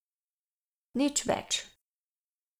Nič več.